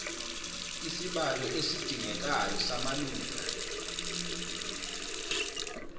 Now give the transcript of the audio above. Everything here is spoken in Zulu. isibalo esidingekayo samalunga